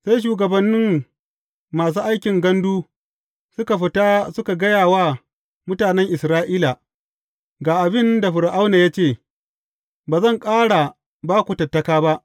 Sai shugabannin masu aikin gandu suka fita suka gaya wa mutanen Isra’ila, Ga abin da Fir’auna ya ce, Ba zan ƙara ba ku tattaka ba.